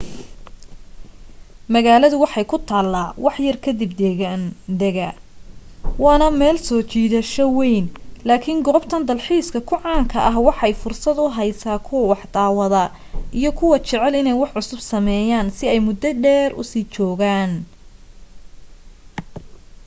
magaalada waxa ay ku taala wax yar kadiba deggaandega waana meel soo jiidasho weyn laakin goobtan dalxiiska ku caanka ah waxa ay fursad u heysa kuwa wax daawada iyo kuwa jecel inee wax cusub sameyan si ay mudo dheer usii joogan